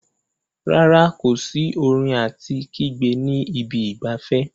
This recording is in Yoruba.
Rárá, kò sí orin àti kígbe ní ibi ìgbafẹ́.